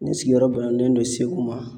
Ne sigiyɔrɔ bɛnnen don Segu ma.